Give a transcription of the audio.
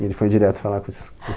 E ele foi direto falar com esses dois.